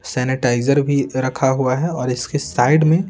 sanitiser भी रखा हुआ है और इसके साइड में--